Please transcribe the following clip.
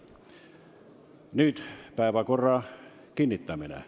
Nüüd päevakorra kinnitamine.